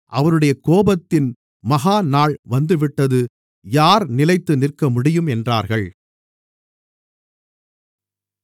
அவருடைய கோபத்தின் மகா நாள் வந்துவிட்டது யார் நிலைத்து நிற்கமுடியும் என்றார்கள்